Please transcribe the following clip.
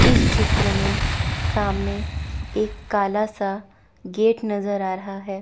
इस चित्र में सामने एक काला सा गेट नजर आ रहा है।